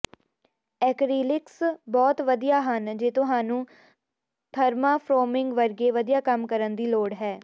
acrylics ਬਹੁਤ ਵਧੀਆ ਹਨ ਜੇ ਤੁਹਾਨੂੰ ਥਰਮਾਫੋਰ੍ਮਿੰਗ ਵਰਗੇ ਵਧੀਆ ਕੰਮ ਕਰਨ ਦੀ ਲੋੜ ਹੈ